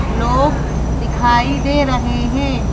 लोग दिखाई दे रहे हैं।